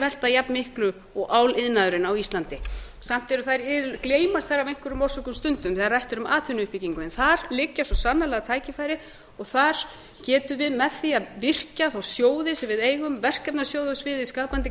velta jafnmiklu og áliðnaðurinn á íslandi samt gleymast þær af einhverjum orsökum stundum þegar rætt er um atvinnuuppbyggingu en þar liggja svo sannarlega tækifærin og þar getum við með því að virkja þá sjóði sem við eigum verkefnasjóði á sviði skapandi